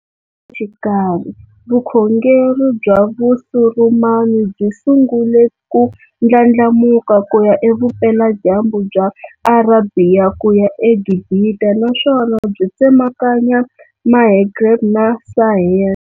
Xikarhi, vukhongeri bya Vusurumani byi sungule ku ndlandlamuka kuya e vupela dyambu bya Arabhiya kuya e Gibhita naswona byi tsemakanya Mahgreb na Sahel.